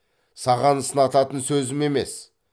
саған сынататын сөзім емес